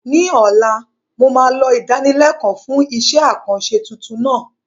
Ní ọ̀la, mo máa lọ ìdánilẹ́kọ̀ọ́ fún iṣẹ́-àkànṣe tuntun náà